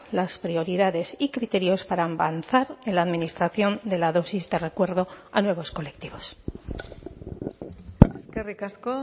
las prioridades y criterios para avanzar en la administración de la dosis de recuerdo a nuevos colectivos eskerrik asko